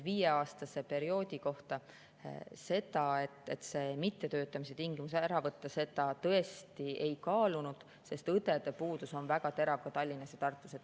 Viieaastase perioodi kohta, et seda mittetöötamise tingimuse äravõtmist me tõesti ei kaalunud, sest õdede puudus on väga terav ka Tallinnas ja Tartus.